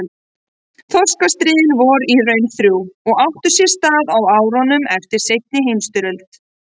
Þorskastríðin voru í raun þrjú og áttu sér stað á árunum eftir seinni heimsstyrjöld.